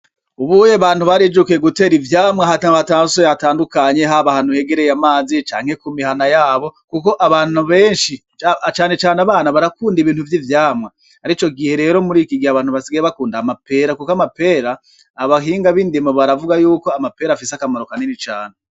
Ubuye abantu barijukiye gutera ivyamwa ahantu hatasuye hatandukanye haba ahantu hegereye amazi canke ku mihana yabo kuko abantu benshi cane cane abana barakunda ibintu vy'ivyamwa, arico gihe rero muri iki gihe abantu basigaye bakunda amapera kuko amapera abahinga bindimo baravuga ko afise akamaro kanini cane.